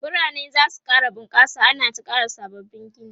biranai zasu ƙara bunƙasa ana ta ƙara sabbabin Gini